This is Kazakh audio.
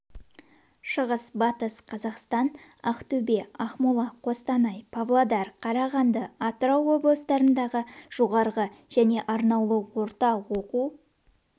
шығыс батыс қазақстан ақтөбе ақмола қостанай павлодар қарағанды атырау облыстарындағы жоғары және орнаулы орта оқу